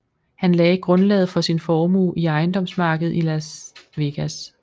Han lagde grundlaget for sin formue i ejendomsmarkedet i Las Vegas